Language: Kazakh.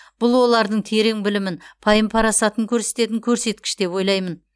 бұл олардың терең білімін пайым парасатын көрсететін көрсеткіш деп ойлаймын